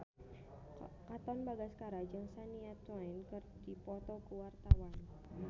Katon Bagaskara jeung Shania Twain keur dipoto ku wartawan